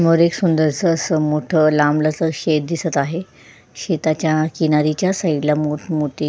वर एक सुंदर असं मोठं लांब लचक शेत असं दिसत आहे शेताच्या किनारीच्या साईड ला मोठ मोठे--